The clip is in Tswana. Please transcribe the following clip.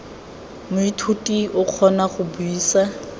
moithuti o kgona go buisa